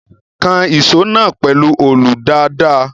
Kan ìṣó náà pẹ̀lú olù dáadáa.